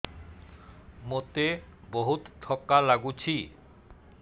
ମୋତେ ବହୁତ୍ ଥକା ଲାଗୁଛି